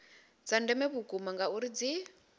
dza ndeme vhukuma ngauri dzi